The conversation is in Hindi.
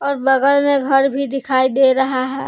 और बगल मे घर भी दिखाई दे रहा है।